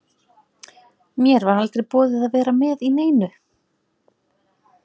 Mér var aldrei boðið að vera með í neinu.